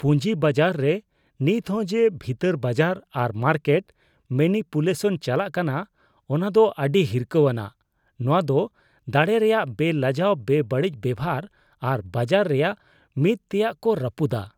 ᱯᱩᱸᱡᱤ ᱵᱟᱡᱟᱨ ᱨᱮ ᱱᱤᱛ ᱦᱚᱸ ᱡᱮ ᱵᱷᱤᱛᱟᱹᱨ ᱵᱟᱡᱟᱨ ᱟᱨ ᱢᱟᱨᱠᱮᱴ ᱢᱮᱱᱤᱯᱩᱞᱮᱥᱚᱱ ᱪᱟᱞᱟᱜ ᱠᱟᱱᱟ ᱚᱱᱟ ᱫᱚ ᱟᱹᱰᱤ ᱦᱤᱨᱠᱷᱟᱹᱣᱟᱱᱟᱜ ᱾ ᱱᱚᱣᱟ ᱫᱚ ᱫᱟᱲᱮ ᱨᱮᱭᱟᱜ ᱵᱮᱼᱞᱟᱡᱟᱣ ᱵᱮᱵᱟᱹᱲᱤᱡ ᱵᱮᱵᱚᱦᱟᱨ ᱟᱨ ᱵᱟᱡᱟᱨ ᱨᱮᱭᱟᱜ ᱢᱤᱫ ᱛᱮᱭᱟᱜ ᱠᱚ ᱨᱟᱯᱩᱫᱼᱟ ᱾